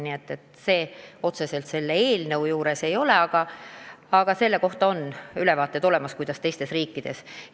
Nii et selle kohta on pilt olemas, mis süsteemid on teistes riikides.